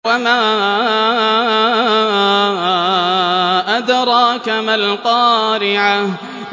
وَمَا أَدْرَاكَ مَا الْقَارِعَةُ